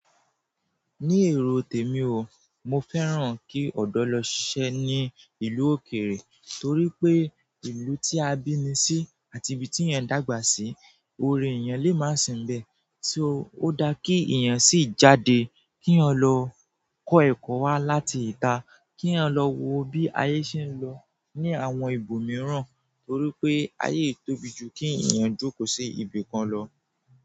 Ní èrò tèmi o, mo fẹ́ràn kí ọ̀dọ́ lọ ṣiṣẹ́ ní ìlú òkèèrè torí pé ìlú tí a bíni sí àti ibi tí èèyàn dàgbà sí, oore èèyàn lè máa si n bẹ́ẹ̀ so ó dáa kí èèyàn sì jáde kí eeyan lọ kọ́ ẹ̀kọ́ wá láti ìta, kí eeyan lọ wo bí ayé ṣe ń lọ ní àwọn ibò mìíràn torí pé ayé i tóbi jù kí èèyàn jókòó sí ibìkan lọ.